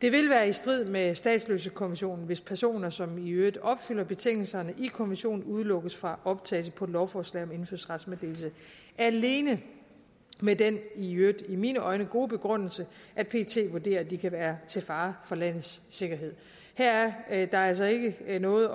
det vil være i strid med statsløsekonventionen hvis personer som i øvrigt opfylder betingelserne i konventionen udelukkes fra optagelse på et lovforslag om indfødsrets meddelelse alene med den i øvrigt i mine øjne gode begrundelse at pet vurderer at de kan være til fare for landets sikkerhed her er der altså ikke noget